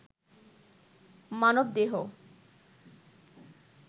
মানবদেহ